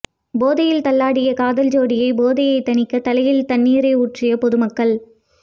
போதையில் தள்ளாடிய காதல் ஜோடி போதையை தணிக்க தலையில் தண்ணீரை ஊற்றிய பொது மக்கள்